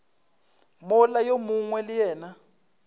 mola yo mongwe le yena